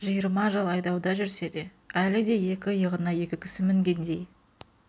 жиырма жыл айдауда жүрсе де әлі де екі иығына екі кісі мінгендей